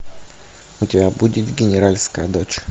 у тебя будет генеральская дочь